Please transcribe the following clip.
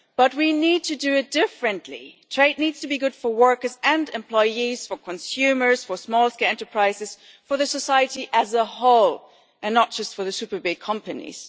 But we need to do it differently. Trade needs to be good for workers and employees, for consumers, for small scale enterprises, for society as a whole, and not just for the super big companies.